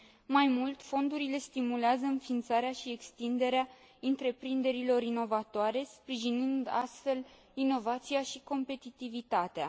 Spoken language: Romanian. Mai mult, fondurile stimulează înființarea și extinderea întreprinderilor inovatoare, sprijinind astfel inovația și competitivitatea.